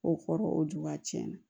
O kɔrɔ o juba tiɲɛna